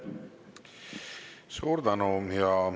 Suur tänu!